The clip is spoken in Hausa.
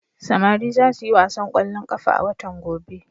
Samari za su yi wasan ƙwallon ƙafa a watan gobe.